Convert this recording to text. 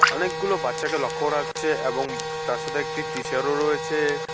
অনেকগুলো বাচ্চাকে লক্ষ্য করা যাচ্ছে এবং তার সাথে একটি টিচারও রয়েছে।